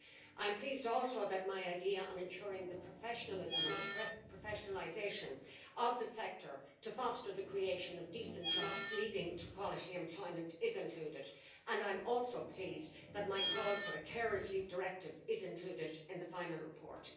I am pleased also that my idea on ensuring the professionalism, or the professionalisation, of the sector to foster the creation of decent jobs leading to quality employment is included. And I am also pleased that might call for a carers' leave directive is included in the final report.